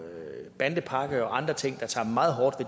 bandepakke og andre ting der tager meget hårdt